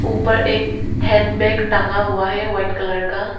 ऊपर एक hand bag टंगा हुआ है वाइट कलर का।